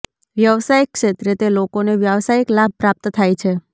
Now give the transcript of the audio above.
વ્યવસાય ક્ષેત્રે તે લોકોને વ્યવસાયિક લાભ પ્રાપ્ત થાય છે